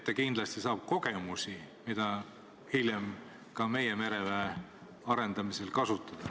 Ta kindlasti saab kogemusi, mida hiljem meie mereväe arendamisel kasutada.